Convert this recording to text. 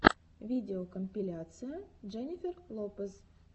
видеокомпиляция дженнифер лопез